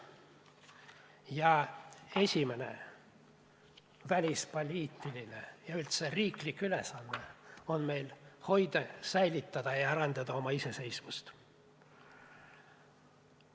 Ja esimene välispoliitiline ja üldse riiklik ülesanne on meil hoida, säilitada ja arendada oma iseseisvust.